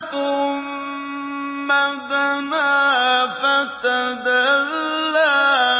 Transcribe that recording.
ثُمَّ دَنَا فَتَدَلَّىٰ